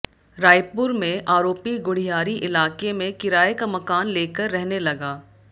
रायपुर में आरोपी गुढ़ियारी इलाके में किराए का मकान लेकर रहने लगा